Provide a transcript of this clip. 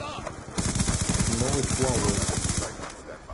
новый хуавей